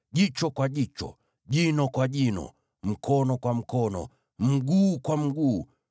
jicho kwa jicho, jino kwa jino, mkono kwa mkono, mguu kwa mguu,